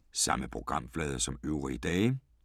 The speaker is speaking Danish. Samme programflade som øvrige dage